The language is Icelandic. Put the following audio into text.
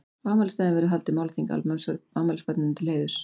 Á afmælisdaginn verður haldið málþing afmælisbarninu til heiðurs.